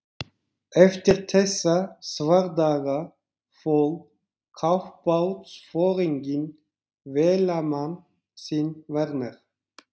Eftir þessa svardaga fól kafbátsforinginn vélamann sinn Werner